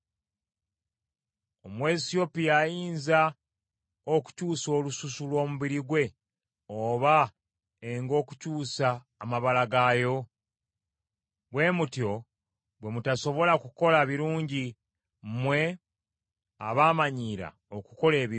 Omuwesiyopya ayinza okukyusa olususu lw’omubiri gwe oba engo okukyusa amabala gaayo? Bwe mutyo bwe mutasobola kukola birungi, mmwe abaamanyiira okukola ebibi.